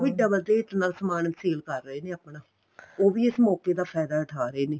ਵੀ double rate ਨਾਲ ਸਮਾਨ ਸਾਲੇ ਕਰ ਰਹੇ ਨੇ ਆਪਣਾ ਉਹ ਵੀ ਇਸ ਮੋਕੇ ਦਾ ਫਾਇਦਾ ਉਠਾ ਰਹੇ ਨੇ